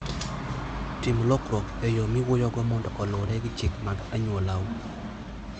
Tim lokruok e yo miwuoyogo mondo oluwre gi chike mag anyuolau.